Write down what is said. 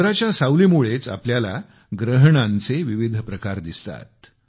चंद्राच्या सावलीमुळेच आपल्याला ग्रहणांचे विविध प्रकार दिसतात